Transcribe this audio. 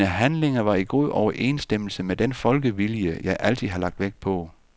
Mine handlinger var i god overensstemmelse med den folkevilje, jeg altid har lagt vægt på.